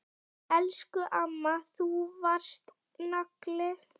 Elsku amma, þú varst nagli.